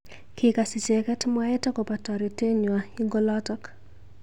Kikas icheket mwaet akobo toretet nywa ing olotok.